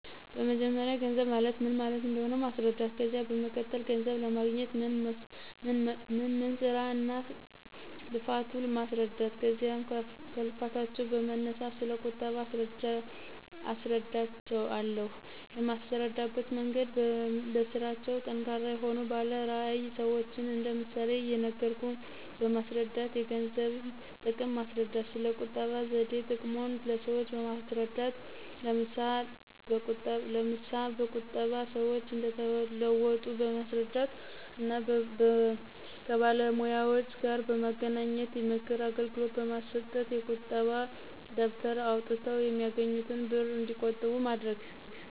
በመጀመርያ ገንዘብ ማለት ምን ማለት እንደሆነ ማስረዳት። ከዚያ በመቀጠል ገንዘብ ለማግኞት ምን ምን ስራ እና ልፋቱ ማስረዳት ከዚያም ከልፋታቸው በመነሳት ስለ ቁጠባ አስረዳቸው አለሁ። የማስረዳበት መንገድም በስራቸው ጠንካራ የሆኑ ባለ ራዕይ ሰዎችን እንደ ምሳሌ እየነገርኩ በማስረዳት። የገንዘብን ጥቅም ማስረዳት። ስለ ቁጠባ ዘዴ ጥቅሙን ለሰዎች በማስረዳት ለምሳ በቁጠባ ሰዎች እንደተለወጡ በማስረዳት እና ከባለሙያዎጋር በማገናኝት የምክር አገልግሎት በማሰጠት። የቁጣ ደብተር አውጠው የሚያገኙትን ብር እንዲቆጥቡ ማድረግ